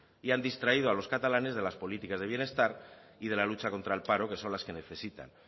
y han distraído a los catalanes de las políticas de bienestar y de la lucha contra el paro que son las que necesitan